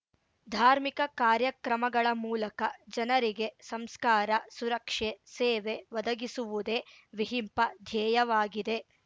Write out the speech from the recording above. ಧಾರ್ಮಿಕ ಕಾರ್ಯಕ್ರಮಗಳ ಮೂಲಕ ಜನರಿಗೆ ಸಂಸ್ಕಾರ ಸುರಕ್ಷೆ ಸೇವೆ ಒದಗಿಸುವುದೇ ವಿಹಿಂಪ ಧ್ಯೇಯವಾಗಿದೆ